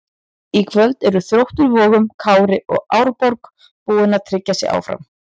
Í kvöld eru Þróttur Vogum, Kári og Árborg búin að tryggja sig áfram.